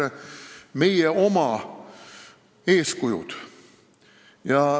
See on meie antav eeskuju.